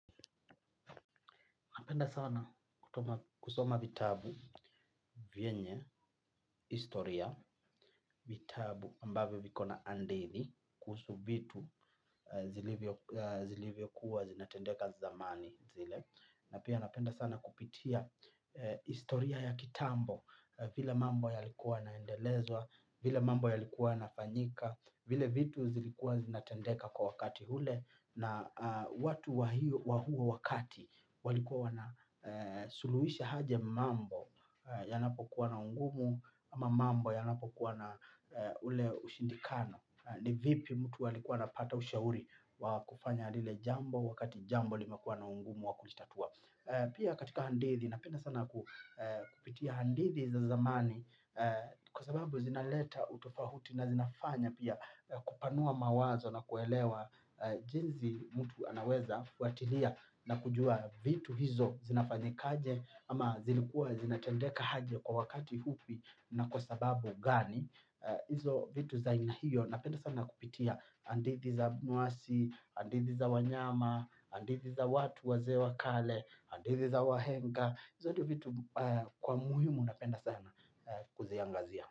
Napenda sana kusoma vitabu, vyenye, istoria, vitabu ambavyo vikona andithi kuhusu vitu zilivyo kuwa zinatendeka zamani zile. Napenda sana kupitia istoria ya kitambo vile mambo yalikuwa naendelezwa, vile mambo yalikuwa yanafanyika, vile vitu zilikuwa zinatendeka kwa wakati hule. Na watu wahuo wakati walikuwa wanasuluhisha haje mambo yanapo kuwana ungumu ama mambo yanapo kuwana ule ushindikano ni vipi mtu alikuwa anapata ushauri wakufanya lile jambo wakati jambo limekuwa na ungumu wakulitatua pia katika handithi na penda sana kupitia handithi za zamani kwa sababu zinaleta utofahuti na zinafanya pia kupanua mawazo na kuelewa jinzi mutu anaweza fuatilia na kujua vitu hizo zinafanyikaje ama zilikuwa zinatendeka haje kwa wakati hupi na kwa sababu gani hizo vitu za aina hiyo napenda sana kupitia andithi za abunwasi andithi za wanyama andithi za watu wazee wa kale hadithi za wahenga zote vitu kwa muhimu napenda sana kuziangalia.